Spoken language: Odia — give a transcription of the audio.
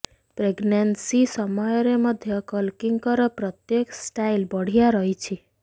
ପ୍ରେଗନାନ୍ସି ସମୟରେ ମଧ୍ୟ କଲ୍କିଙ୍କର ପ୍ରତ୍ୟେକ ଷ୍ଟାଇଲ୍ ବଢ଼ିଆ ରହିଛି